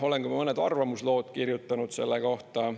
Olen ka mõned arvamuslood kirjutanud selle kohta.